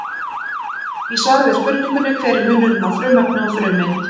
Í svari við spurningunni Hver er munurinn á frumefni og frumeind?